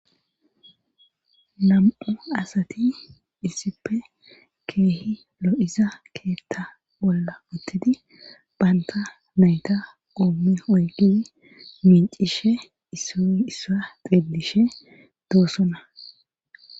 Nam,u asati issippe keehi lo7iza keetta bolla uttidi banta nayta oommi oygini mincishe isoissa xillishe doossona